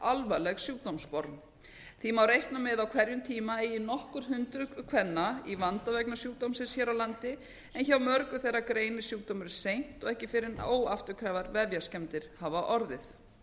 alvarleg sjúkdómsform því má reikna með að á hverjum tíma eigi nokkur hundruð kvenna í vanda vegna sjúkdómsins hér á landi en hjá mörgum þeirra greinist sjúkdómurinn seint og ekki fyrr en óafturkræfar vefjaskemmdir hafa orðið